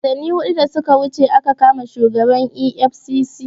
Watanni hudu da suka wuce aka kama shugaban EFCC